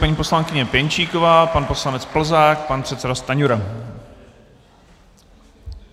Paní poslankyně Pěnčíková, pan poslanec Plzák, pan předseda Stanjura.